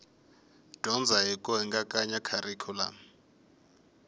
dyondza hi ku hingakanya kharikhulamu